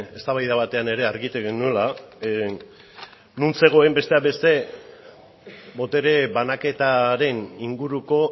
eztabaida batean ere argitu genuela non zegoen besteak beste botere banaketaren inguruko